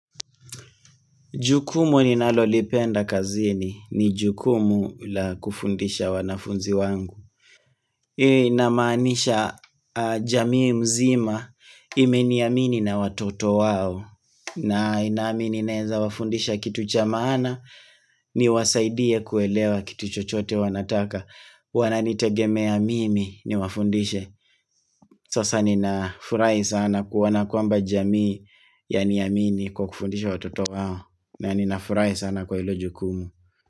Jukumu ninalolipenda kazini ni jukumu la kufundisha wanafunzi wangu. Ninamaanisha jamii mzima imeniamini na watoto wao. Na inamini naeza wafundisha kitu cha maana niwasaidie kuelewa kitu chochote wanataka. Wananitegemea mimi ni wafundishe. Sasa ninafurahi sana kuoana kwamba jamii yaniamini kwa kufundisha watoto wao. Na ninafurahi sana kwa ilo jukumu.